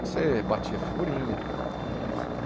Você batia figurinha.